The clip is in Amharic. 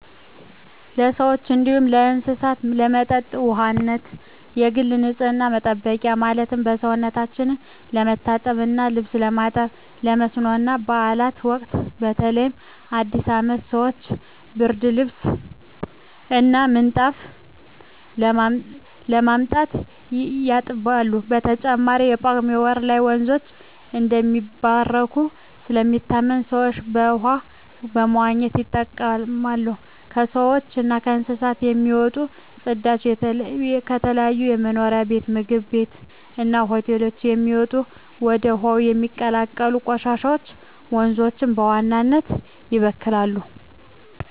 ለሰዎች እንዲሁም ለእስሳት ለመጠጥ ውሃነት፣ ለግል ንፅህና መጠበቂያ ማለትም ሰውነታቸው ለመታጠብ እና ልብስ ለማጠብ፣ ለመስኖ እና ባእላት ወቅት በተለይ በአዲስ አመት ሰወች ብርድልብስ እና ምንጣፍ በማምጣት ያጥባሉ። በተጨማሪም በጳጉሜ ወር ላይ ወንዞች እንደሚባረኩ ስለሚታመን ሰወች በውሃው በመዋኘት ይጠመቃሉ። ከሰውች እና ከእንስሳት የሚወጡ ፅዳጆች፣ ከተለያዩ መኖሪያ ቤት ምግብ ቤት እና ሆቴሎች የሚወጡ እና ወደ ውሀው የሚቀላቀሉ ቆሻሻወች ወንዞችን በዋናነት ይበክላሉ።